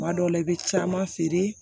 Kuma dɔw la i bɛ caman feere